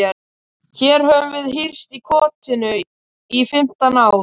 Hér höfum við hírst í kotinu í fimmtán ár.